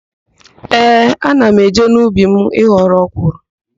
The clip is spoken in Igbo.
Ee, ana m eje n'ubi m ịghọrọ ọkwụrụ.